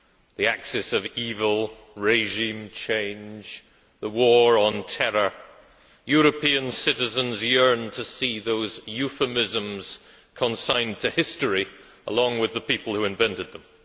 The axis of evil, regime change, the war on terror European citizens yearn to see those euphemisms consigned to history, along with the people who invented them.